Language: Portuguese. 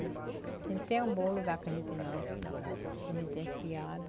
A gente tem amor o lugar que a gente nasce, que a gente tem criado.